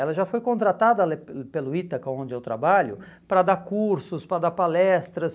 Ela já foi contratada lá eh pelo Itaca, onde eu trabalho, para dar cursos, para dar palestras.